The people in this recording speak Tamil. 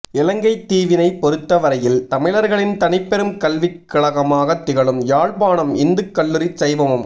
இலங்கைத் தீவினைப் பொறுத்த வரையில் தமிழர்களின் தனிப்பெரும் கல்விக் கழமாகத் திகழும் யாழ்ப்பாணம் இந்துக் கல்லூரி சைவமும்